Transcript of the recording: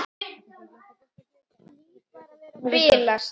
Hlýt bara að vera að bilast.